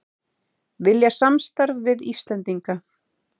Vilja samstarf við Íslendinga